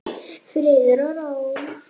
Friður og ró.